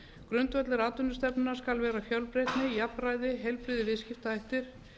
grundvöllur atvinnustefnunnar skal vera fjölbreytni jafnræði heilbrigðir viðskiptahættir